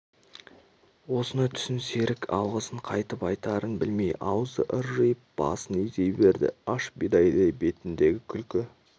осыны түсін серік алғысын қайтып айтарын білмей аузы ыржиып басын изей берді аш бидайдай бетіндегі күлкі